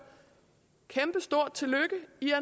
kæmpestort tillykke i